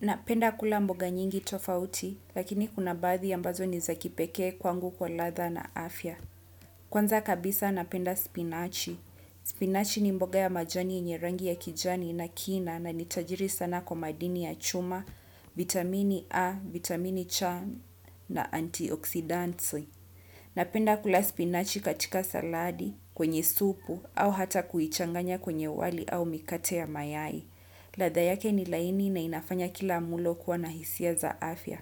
Napenda kula mboga nyingi tofauti, lakini kuna baadhi ambazo ni za kipekee kwangu kwa ladha na afya. Kwanza kabisa napenda spinachi. Spinachi ni mboga ya majani yenye rangi ya kijani na kina na ina utajiri sana kwa madini ya chuma, vitamini A, vitamini cha na antioxidant. Napenda kula spinachi katika saladi, kwenye supu, au hata kuichanganya kwenye wali au mikate ya mayai. Ladha yake ni laini na inafanya kila mlo kuwa na hisia za afya.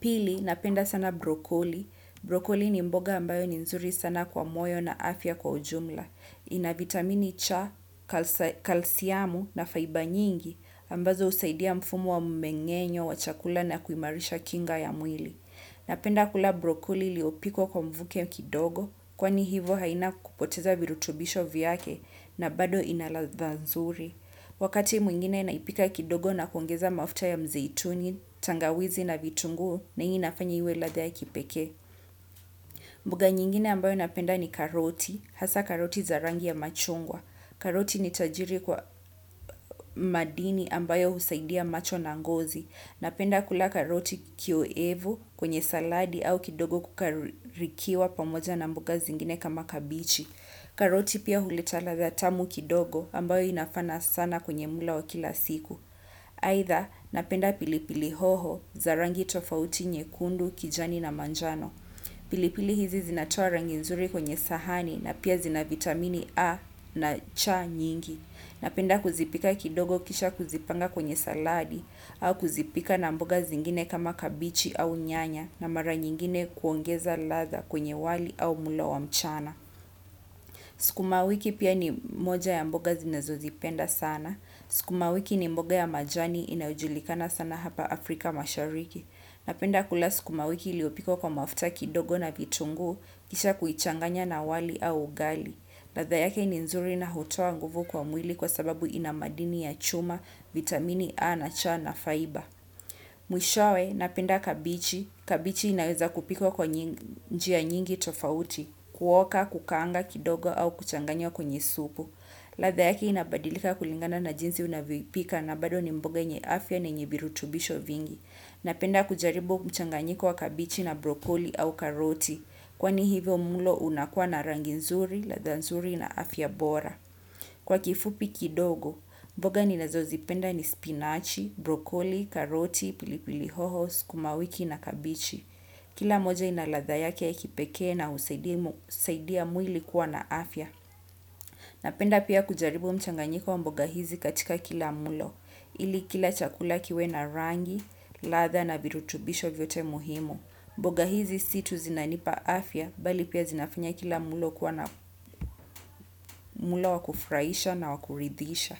Pili, napenda sana brokoli. Brokoli ni mboga ambayo ni nzuri sana kwa moyo na afya kwa jumla. Ina vitamini cha, kalsiamu na faiba nyingi ambazo husaidia mfumu wa mmeng'enyo, wa chakula na kuimarisha kinga ya mwili. Napenda kula brokoli iliyopikwa kwa mvuke kidogo kwani hivyo haina kupoteza virutubisho vyake na bado ina ladha nzuri. Wakati mwingine naipika kidogo na kuongeza mafuta ya mzeituni, tangawizi na vitunguu na hii inafanya iwe na ladha ya kipekee. Mbugo nyingine ambayo napenda ni karoti. Hasa karoti zarangi ya machungwa. Karoti ni tajiri kwa madini ambayo husaidia macho na ngozi. Napenda kula karoti kioevu kwenye saladi au kidogo kukarikwa pamoja na mboga zingine kama kabichi. Karoti pia huleta ladha tamu kidogo ambayo inafaa sana kwenye mlo wa kila siku aitha napenda pilipili hoho za rangi tofauti nyekundu, kijani na manjano. Pilipili hizi zinatoa rangi nzuri kwenye sahani na pia zina vitamini A na cha nyingi. Napenda kuzipika kidogo kisha kuzipanga kwenye saladi au kuzipika na mboga zingine kama kabichi au nyanya na mara nyingine kuongeza ladha kwenye wali au mlo wa mchana. Sukuma wiki pia ni moja ya mboga ninazozipenda sana. Sukuma wiki ni mboga ya majani inayojulikana sana hapa Afrika mashariki. Napenda kula sukuma wiki iliopikwa kwa mafuta kidogo na vitunguu, kisha kuichanganya na wali au ugali. Ladha yake ni nzuri na hutoa nguvu kwa mwili kwa sababu ina madini ya chuma, vitamini A na cha na, faiba. Mwishowe, napenda kabichi. Kabichi inaweza kupikwa kwa njia nyingi tofauti. Kuoka, kukanga kidogo au kuchanganya kwenye supu ladha yake inabadilika kulingana na jinsi unavyoipika na bado ni mboga yenye afya na yenye virutubisho vingi. Napenda kujaribu mchanganyiko wa kabichi na brokoli au karoti. Kwani hivyo mlo unakuwa na rangi nzuri, ladha nzuri na afya bora. Kwa kifupi kidogo, mboga ninazo zipenda ni spinachi, brokoli, karoti, pili pili hoho, sukuma wiki na kabichi. Kila moja inaladha yake ya kipekee na husaidia mwili kuwa na afya. Napenda pia kujaribu mchanganyiko wa mboga hizi katika kila mlo. Ili kila chakula kiwe na rangi, ladha na virutubisho vyote muhimu. Mboga hizi si tu zinanipa afya, bali pia zinafanya kila mlo kuwa na mlo wa kufraisha na wa kuridhisha.